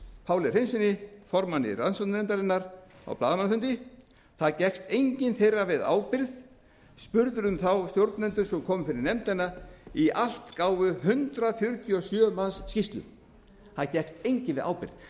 páli hreinssyni formanni rannsóknarnefndarinnar á blaðamannafundi það gekkst enginn þeirra við ábyrgð spurðir um þá stjórnendur sem komu fyrir nefndina í allt gáfu hundrað fjörutíu og sjö manns skýrslu það gekkst enginn við ábyrgð